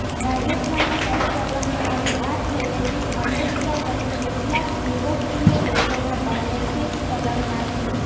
રાજસ્થાનમાં શરૂ કરવામાં આવેલ આ થેરેપી અમેરિકા સહિત કેટલાક યૂરોપીય દેશોમાં પહેલેથી જ ચલણમાં છે